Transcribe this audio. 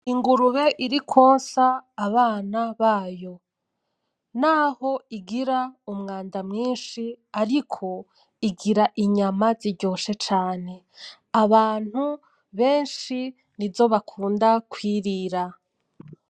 Ingurube iri kwonsa abana bayo naho igira umwanda mwinshi ariko igira inyama ziryoshe cane abantu benshi nizo bakunda kwirira